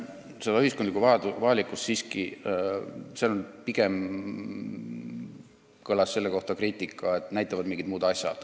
Pigem kõlas selle kohta siiski kriitika, et seda näitavad mingid muud asjad.